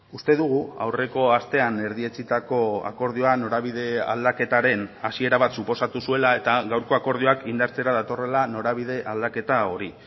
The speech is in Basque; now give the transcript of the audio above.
uste dugu aurreko astean erdietsitako akordioan norabide aldaketaren hasiera bat suposatu zuela eta gaurko akordioak indartzera datorrela norabide aldaketa hori